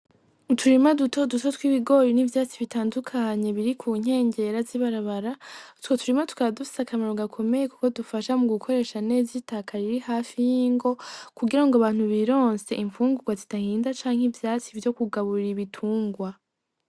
Uturima duto duto tw'ibigori n'ivyatsi bitandukanye biri ku nkengera z'ibarabara, utwo turima tukaba dufise akamaro gakomeye kuko dufasha mu gukoresha neza itaka riri hafi y'ingo kugira ngo abantu bironse infungurwa zidahinda canke ivyatsi vyo kugaburira ibitungwa.